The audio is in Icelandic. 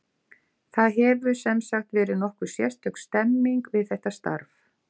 Það hefur, sem sagt, verið nokkuð sérstök stemming við þetta starf.